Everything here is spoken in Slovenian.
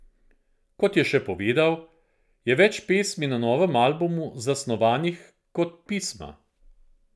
Kot je še povedal, je več pesmi na novem albumu zasnovanih kot pisma.